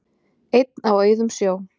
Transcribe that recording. Einn á auðum sjó